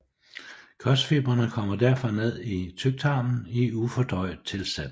Kostfibrene kommer derfor ned i tyktarmen i ufordøjet tilstand